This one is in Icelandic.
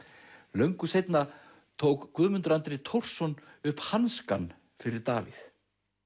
löngu seinna tók Guðmundur Andri Thorsson upp hanskann fyrir Davíð